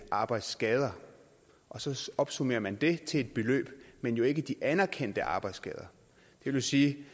arbejdsskader og så opsummerer man det til et beløb men jo ikke de anerkendte arbejdsskader det vil sige